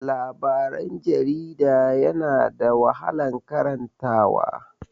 Labaran jarida yana da wahalan karanta wa.